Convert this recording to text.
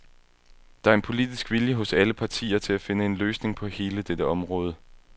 Der er en politisk vilje hos alle partier til at finde en løsning på hele dette område.